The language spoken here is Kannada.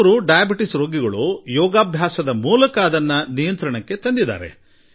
ಕೆಲವು ಸಕ್ಕರೆ ಕಾಯಿಲೆ ರೋಗಿಗಳಂತೂ ತಮ್ಮ ಯೋಗಾಭ್ಯಾಸದ ಮೂಲಕ ಅದನ್ನು ಹತೋಟಿಯಲ್ಲಿ ಇಟ್ಟಿದ್ದಾರೆ